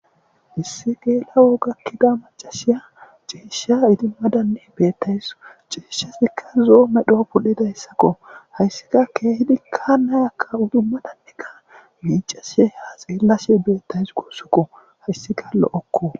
issi geela'o gakkida macashiya ciesha idimmadanne beettays cieshshasikka zoo medho pudhidahessakko hayssika keehidikka nayakka udummadanneka miicashe ha xeellashe beettays guossukko hayssika lo'okko